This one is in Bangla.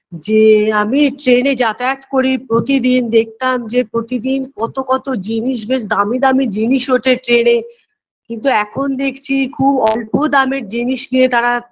যে আমি train -এ যাতায়াত করি প্রতিদিন দেখতাম যে প্রতিদিন কতো কতো জিনিস বেশ দামি দামি জিনিস ওঠে train -এ কিন্তু এখন দেখছি খুব অল্প দামের জিনিস নিয়ে তারা